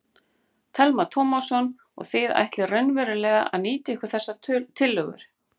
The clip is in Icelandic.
Telma Tómasson: Og þið ætlið raunverulega að nýta ykkur þessar tillögur?